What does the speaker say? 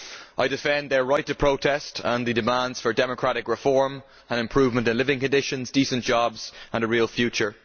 I defend their right to protest and the demands for democratic reform and an improvement in living conditions, decent jobs and a real future.